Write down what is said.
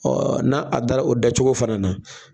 Ɔ n'a a dara o dacogo fana na